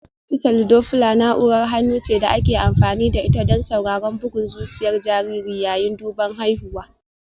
Fitali Dopla na'urar hannu ce da ake amfani da ita don sauraron bugun zuciyar jariri yayin duban haihuwa